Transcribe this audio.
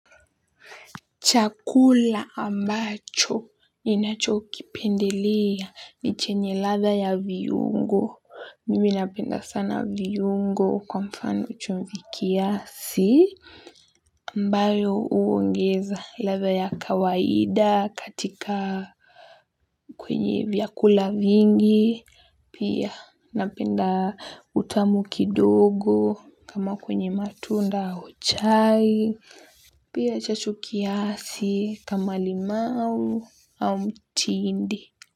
Chakula ambacho ninachokipendelea ni chenye latha ya viyungo mimi napenda sana viyungo kwa mfano chumvi kiasi ambalo huongeza latha ya kawaida katika kwenye vyakula vingi. Pia napenda utamu kidogo kama kwenye matunda au chai. Pia chachu kiasi kama limau au mtindi.